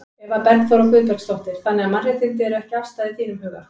Eva Bergþóra Guðbergsdóttir: Þannig að mannréttindi eru ekki afstæð í þínum huga?